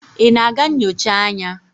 ị na-aga nyocha anya?